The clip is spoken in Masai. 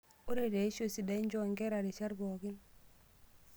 Ore teishoi sidai, nchoo enkare rishat pookin.